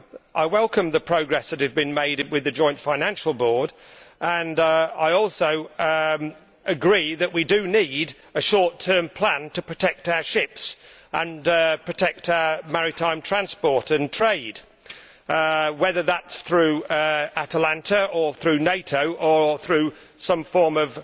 I welcome the progress that has been made with the Joint Financial Board, and I also agree that we need a short term plan to protect our ships and protect our maritime transport and trade, whether that is through Atalanta or through NATO or through some form